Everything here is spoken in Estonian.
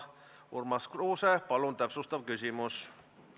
Urmas Kruuse, palun täpsustav küsimus!